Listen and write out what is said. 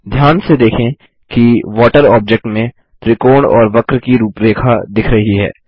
ध्यान से देखें कि वाटर ऑब्जेक्ट में त्रिकोण और वक्र की रूपरेखा दिख रही है